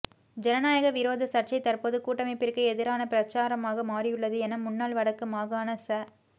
ஜனநாயக விரோத சர்ச்சை தற்போது கூட்டமைப்பிற்கு எதிரான பிரசாரமாக மாறியுள்ளது என முன்னாள் வடக்கு மாகாண ச